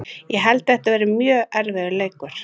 Ég held að þetta verði mjög erfiður leikur.